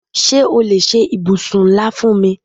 Ṣé o lè ṣe ibùsùn ńlá fún mi?